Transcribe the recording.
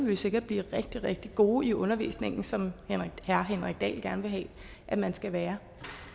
vi sikkert blive rigtig rigtig gode i undervisningen som herre henrik dahl gerne vil have at man skal være